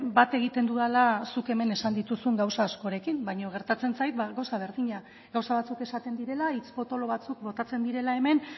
bat egiten dudala zuk hemen esan dituzun gauza askorekin baina gertatzen zait gauza berdina gauza batzuk esaten direla hitz potolo batzuk botatzen direla hemen